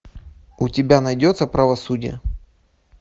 у тебя найдется правосудие